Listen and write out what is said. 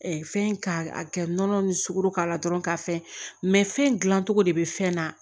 fɛn k'a a kɛ nɔnɔ ni sukoro k'a la dɔrɔn k'a fɛn fɛn gilan cogo de bɛ fɛn na